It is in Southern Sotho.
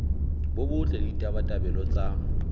bo botle le ditabatabelo tsa